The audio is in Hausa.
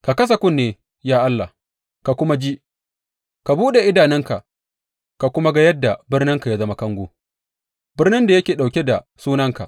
Ka kasa kunne, ya Allah, ka kuma ji; ka buɗe idanunka ka kuma ga yadda birninka ya zama kango, birnin da yake ɗauke da Sunanka.